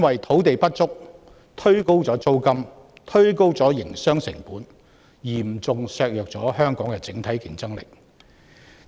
土地不足推高了租金及營商成本，嚴重削弱香港的整體競爭力。